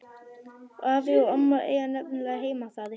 Afi og amma eiga nefnilega heima þar.